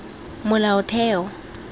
molaotheo